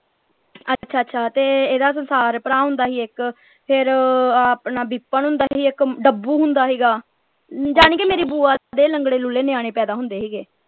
ਅੱਛਾ ਅੱਛਾ ਤੇ ਇਹਦਾ ਸੰਸਾਰ ਭਰਾ ਹੁੰਦਾ ਸੀ ਇਕ ਫੇਰ ਆਹ ਆਪਣਾ vipan ਹੁੰਦਾ ਸੀ ਇਕ dabboo ਹੁੰਦਾ ਸੀਗਾ ਜਾਨੀ ਕਿ ਮੇਰੀ ਬੁਆ ਦੇ ਲੰਗੜੇ ਲੂਲੇ ਨਿਆਣੇ ਪੈਦਾ ਹੁੰਦੇ ਸੀਗੇ।